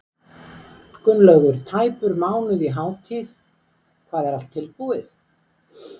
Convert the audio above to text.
Gunnlaugur, tæpur mánuður í hátíð, hvað, er allt tilbúið?